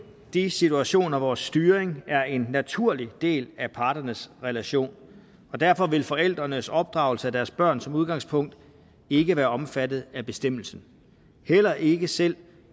de situationer hvor styring er en naturlig del af parternes relation og derfor vil forældrenes opdragelse af deres børn som udgangspunkt ikke være omfattet af bestemmelsen heller ikke selv